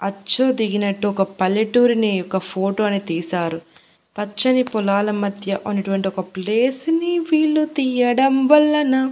అచ్చు దిగినట్టు ఒక పల్లెటూరిని ఒక ఫోటో అనేది తీశారు పచ్చని పొలాల మధ్య ఉన్నటువంటి ఒక ప్లేస్ ని వీళ్లు తీయడం వల్లన --